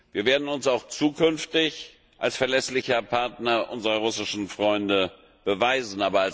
Wir werden uns auch in Zukunft als verlässlicher Partner unserer russischen Freunde erweisen.